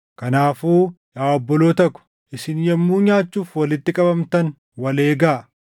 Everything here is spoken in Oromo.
Kanaafuu yaa obboloota ko, isin yommuu nyaachuuf walitti qabamtan wal eegaa.